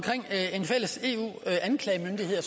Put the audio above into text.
en fælles eu anklagemyndighed